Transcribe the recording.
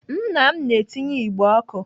Nna m na-etinye igbe ọkụ.